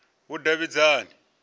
vhudavhidzani